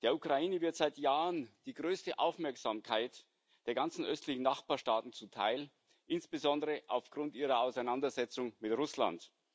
Der Ukraine wird seit Jahren die größte Aufmerksamkeit unter den ganzen östlichen Nachbarstaaten zuteil, insbesondere aufgrund ihrer Auseinandersetzung mit Russland.